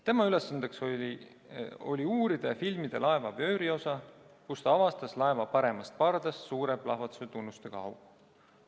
Tema ülesandeks oli uurida ja filmida laeva vööriosa, kus ta avastas laeva paremast pardast suure, plahvatuse tunnustega augu.